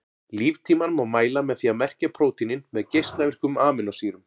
Líftímann má mæla með því að merkja prótínin með geislavirkum amínósýrum.